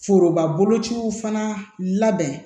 Foroba bolociw fana labɛn